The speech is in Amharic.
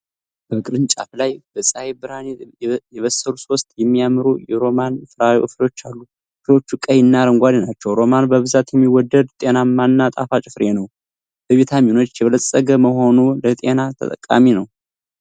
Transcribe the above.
በቅርንጫፍ ላይ በፀሐይ ብርሃን የበሰሉ ሦስት የሚያማምሩ የሮማን ፍሬዎችን አሉ። ፍሬዎቹ ቀይና አረንጓዴ ናቸው። ሮማን በብዛት የሚወደድ፣ ጤናማና ጣፋጭ ፍሬ ነው። በቪታሚኖች የበለፀገ በመሆኑ ለጤና ጠቃሚ ነው።